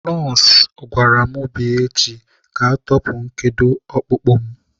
Nọọsụ gwara mụ bịa echi ka ọ tọpụ nkedo ọkpụkpụ mụ.